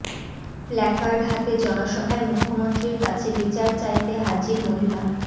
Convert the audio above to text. placard হাতে জনসভায় মুখ্যমন্ত্রীর কাছে বিচার চাইতে হাজির মহিলা